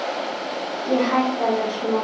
Ég hætti að vera smeyk.